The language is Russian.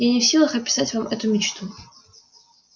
я не в силах описать вам эту мечту